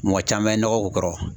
Mɔgɔ caman ye nɔgɔ k'u kɔrɔ